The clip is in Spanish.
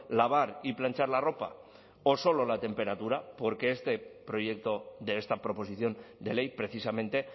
lavar y planchar la ropa o solo la temperatura porque este proyecto de esta proposición de ley precisamente